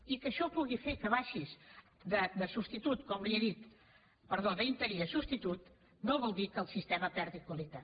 i que això pugui fer que baixis com li he dit d’interí a substitut no vol dir que el sistema perdi qualitat